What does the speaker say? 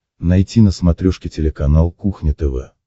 найти на смотрешке телеканал кухня тв